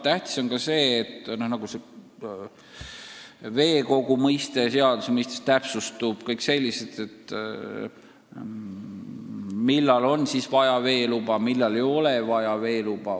Tähtis on, et veekogu mõiste seaduse mõistes täpsustub, samuti on selgem, millal on vaja veeluba, millal mitte.